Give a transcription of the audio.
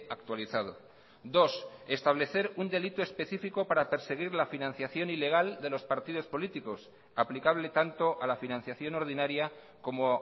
actualizado dos establecer un delito específico para perseguir la financiación ilegal de los partidos políticos aplicable tanto a la financiación ordinaria como